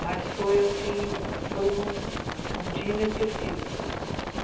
Mas foi assim foi um dia inesquecível foi